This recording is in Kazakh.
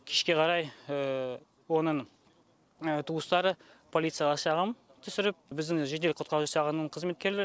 кешке қарай оның туыстары полицияға шағым түсіріп біздің жедел құтқару жасағының қыметкерлері